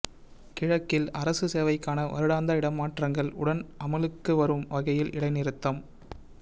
கிழக்கில் அரச சேவைக்கான வருடாந்த இடமாற்றங்கள் உடன் அமுலுக்கு வரும் வகையில் இடைநிறுத்தம்